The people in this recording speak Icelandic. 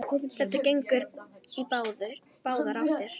Þetta gengur í báðar áttir.